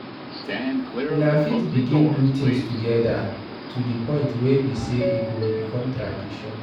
Una fit begin do things together to di point wey be sey e go become tradition